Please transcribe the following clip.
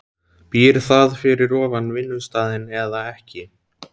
Býr það fyrir ofan vinnustaðinn eða ekki?